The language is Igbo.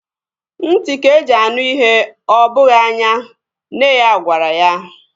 Ntị ka-eji anụ ihe ọ bụghị anya. Nne ya gwara ya